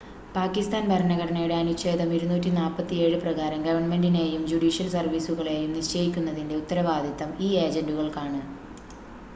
പാക്കിസ്ഥാൻ ഭരണഘടനയുടെ അനുച്ഛേദം 247 പ്രകാരം, ഗവൺമെന്റിനെയും ജുഡീഷ്യൽ സർവീസുകളെയും നിശ്ചയിക്കുന്നതിന്റെ ഉത്തരവാദിത്തം ഈ ഏജന്റുകൾക്കാണ്